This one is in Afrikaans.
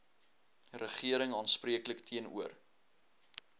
regering aanspreeklik teenoor